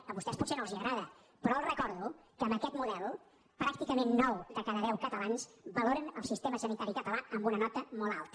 a vostès potser no els agrada però els recordo que amb aquest model pràcticament nou de cada deu catalans valoren el sistema sanitari català amb una nota molt alta